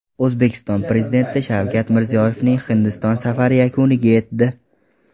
O‘zbekiston Prezidenti Shavkat Mirziyoyevning Hindiston safari yakuniga yetdi.